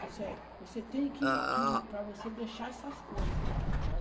Disse, é, você tem que que, para você deixar essas coisas, tá?